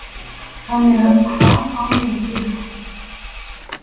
Þannig að hvað á ég að gera?